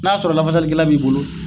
N'a sɔrɔ lafali kɛla b'i bolo